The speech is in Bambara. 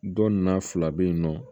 Dɔ nan fila bɛ yen nɔ